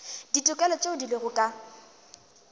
ditokelo tšeo di lego ka